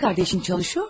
Bacın işləyir?